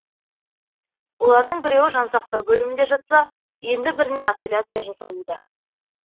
олардың біреуі жансақтау бөлімінде жатса енді біріне операция жасалуда